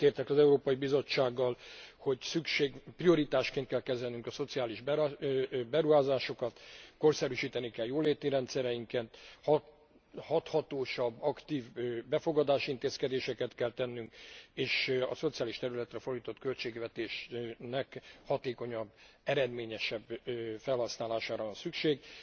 Egyetértek az Európai Bizottsággal, hogy prioritásként kell kezelnünk a szociális beruházásokat, korszerűsíteni kell jóléti rendszereinket, hathatósabb aktív befogadási intézkedéseket kell tennünk, és a szociális területre fordított költségvetésnek hatékonyabb, eredményesebb felhasználására van szükség.